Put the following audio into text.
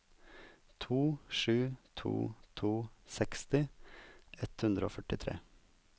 to sju to to seksti ett hundre og førtitre